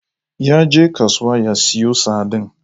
Yaje kasuwa ya siyo sardine.